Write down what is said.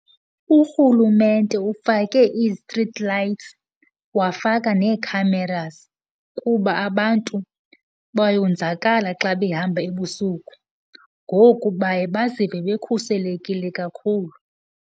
Urhulumente ufake i-street lights, wafaka neekhamerazi kuba abantu bayonzakala xa behamba ebusuku, ngoku baye bazive bekhuselekile kakhulu.